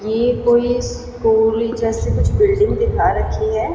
ये कोई स्कूल जैसे कुछ बिल्डिंग दिखा रखी है।